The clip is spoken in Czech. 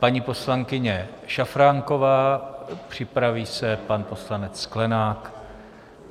Paní poslankyně Šafránková, připraví se pan poslanec Sklenák.